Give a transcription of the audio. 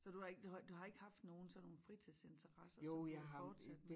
Så du har ik du har ik du har ikke haft nogen sådan nogen fritidsinteresser som du er fortsat med